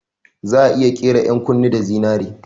Za'a iya ƙera 'yan kunne da zinari